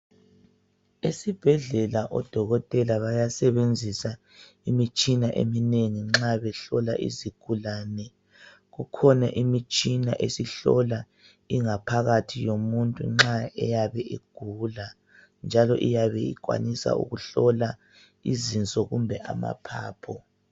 Esibhedlela odokotela bayasebenzisa imitshina eminengi nxa behlola izigulane. Kukhona imitshina esihlola ingaphakathi yomuntu nxa eyabe egula njalo eyabe ekwanisa ukuhlola izinso kumbe amaphaphu.